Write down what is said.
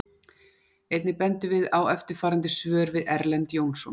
Einnig bendum við á eftirfarandi svör eftir Erlend Jónsson: